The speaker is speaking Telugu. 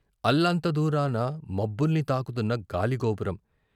అల్లంత దూరాన మబ్బుల్ని తాకుతున్న గాలిగోపురం.